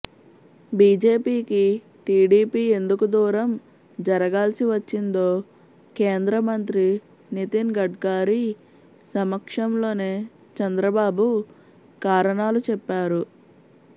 బీజేపీకి టీడీపీ ఎందుకు దూరం జరగాల్సి వచ్చిందో కేంద్ర మంత్రి నితిన్ గడ్కారీ సమక్షంలోనే చంద్రబాబు కారణాలు చెప్పారు